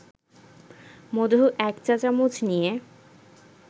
মধু ১ চা-চামচ নিয়ে